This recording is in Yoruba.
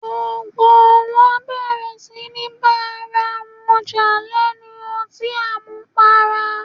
Gbogbo wọn bẹ̀rẹ̀ síní bá ara wọn jà lẹ́nu ọtín àmupara